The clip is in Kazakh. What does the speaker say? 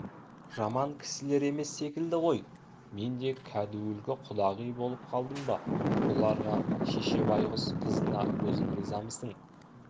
жаман кісілер емес секілді ғой мен кәдуілгі құдағи болып қалдым ба бұларға шеше байғұс қызына өзің ризамысың